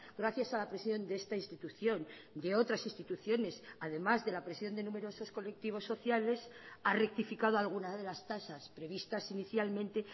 gracias a la presión de esta institución de otras instituciones además de la presión de numerosos colectivos sociales ha rectificado alguna de las tasas previstas inicialmente